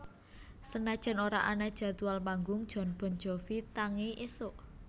Senajan ora ana jadwal manggung Jon Bon Jovi tangi isuk